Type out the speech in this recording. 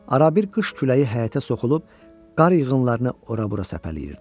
Arabir qış küləyi həyətə soxulub qar yığınlarını ora-bura səpələyirdi.